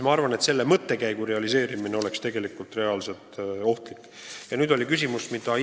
Ma arvan, et tegelikult oleks ohtlik selle mõttekäigu realiseerimine.